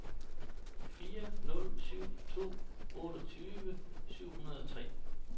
fire nul syv to otteogtyve syv hundrede og tre